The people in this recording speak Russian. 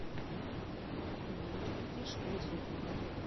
афина мне нужно оплатить школы сургута